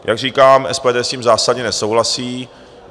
Jak říkám, SPD s tím zásadně nesouhlasí.